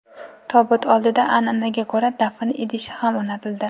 Tobut oldida an’anaga ko‘ra dafn idishi ham o‘rnatildi.